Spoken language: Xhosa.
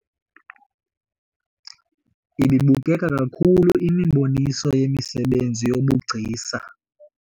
Ibibukeka kakhulu imiboniso yemisebenzi yobugcisa